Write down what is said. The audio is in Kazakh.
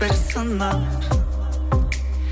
бір сынақ